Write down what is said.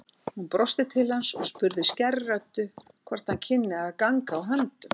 Hún brosti til hans og spurði skærri röddu hvort hann kynni að ganga á höndum.